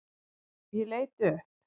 Ég leit upp.